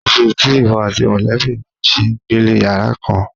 Èés̩e tí ìwo̩ àti mò̩lé̩bí rè̩ s̩e ń gbélé yàrá kán?